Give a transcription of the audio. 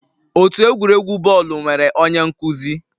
Otu egwuregwu bọọlụ nwere onye nkuzi